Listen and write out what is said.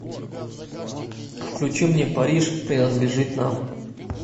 включи мне париж принадлежит нам